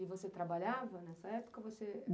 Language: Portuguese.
E você trabalhava nessa época?